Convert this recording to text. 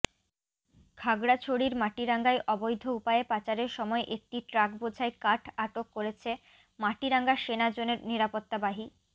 খাগড়াছড়ির মাটিরাঙ্গায় অবৈধ উপায়ে পাচারের সময় একটি ট্রাকবোঝাই কাঠ আটক করেছে মাটিরাঙ্গা সেনা জোনের নিরাপত্তাবাহি